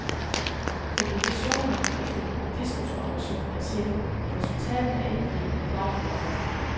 Komplikationer efter diskusoperationer er sjældne, og resultatet af indgrebet plejer at være godt